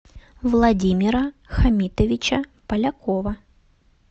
владимира хамитовича полякова